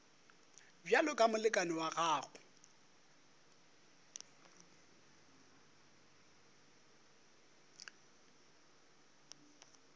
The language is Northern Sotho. bjalo ka molekane wa gago